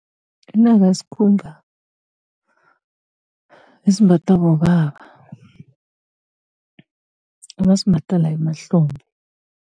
Inaka esimbathwa bobaba, abasimbatha la emahlombe.